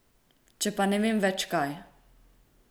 Če pa ne vem več, kaj.